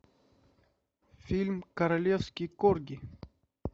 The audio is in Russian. фильм королевский корги